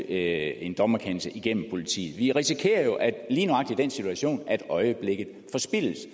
en dommerkendelse igennem politiet vi risikerer jo lige nøjagtig den situation at øjeblikket forspildes